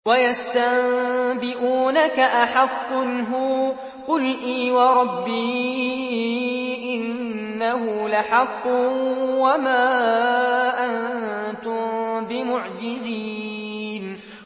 ۞ وَيَسْتَنبِئُونَكَ أَحَقٌّ هُوَ ۖ قُلْ إِي وَرَبِّي إِنَّهُ لَحَقٌّ ۖ وَمَا أَنتُم بِمُعْجِزِينَ